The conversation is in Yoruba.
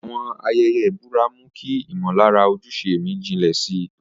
Àwọn ayẹyẹ ìbúra mú kí ìmọ̀lára ojúṣe mi jinlẹ̀ sí i